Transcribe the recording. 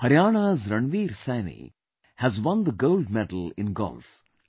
Haryana's Ranveer Saini has won the Gold Medal in Golf